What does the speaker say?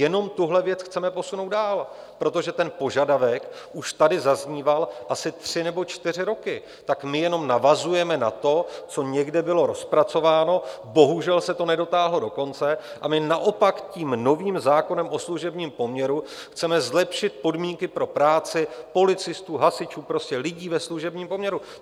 Jenom tuhle věc chceme posunout dál, protože ten požadavek už tady zazníval asi tři nebo čtyři roky, tak my jenom navazujeme na to, co někde bylo rozpracováno, bohužel se to nedotáhlo do konce a my naopak tím novým zákonem o služebním poměru chceme zlepšit podmínky pro práci policistů, hasičů, prostě lidí ve služebním poměru.